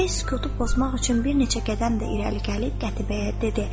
Atabəy sükutu pozmaq üçün bir neçə qədəm də irəli gəlib Qətibəyə dedi: